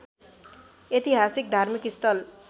ऐतिहासिक धार्मिक स्थल